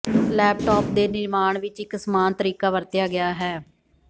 laptop ਦੇ ਨਿਰਮਾਣ ਵਿੱਚ ਇੱਕ ਸਮਾਨ ਤਰੀਕਾ ਵਰਤਿਆ ਗਿਆ ਹੈ